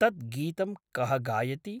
तत् गीतं कः गायति?